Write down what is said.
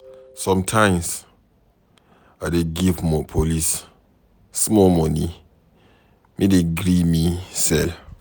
Sometimes I dey give police small moni make dem gree me sell.